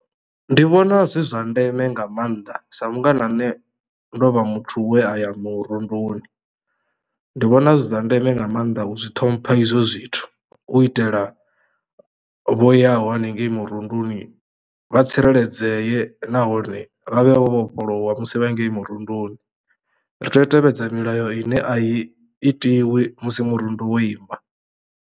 Ndi vhona zwi zwa ndeme nga mannḓa sa mungana ane ndo vha muthu we a ya murunduni ndo vhona zwi zwa ndeme nga mannḓa u zwi ṱhompha izwo zwithu u itela vho yaho haningei murunduni vha tsireledzeye nahone vha vhe vho vhofholowa musi vha hangei murunduni ri teyo u tevhedzela milayo ine a i itiwi musi murundu wo ima.